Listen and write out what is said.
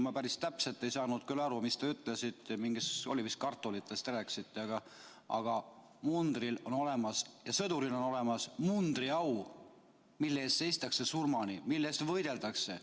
Ma päris täpselt ei saanud küll aru, mis te ütlesite, mingitest kartulitest vist rääkisite, aga munder on olemas ja sõduril on olemas mundriau, mille eest seistakse surmani, mille eest võideldakse.